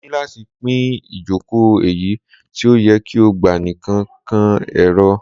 Mo ni lati pin ijoko eyi ti o yẹ ki o gba nikan kan ero